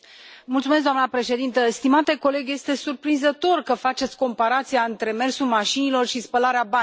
Doamnă președintă, stimate coleg, este surprinzător că faceți comparația între mersul mașinilor și spălarea banilor.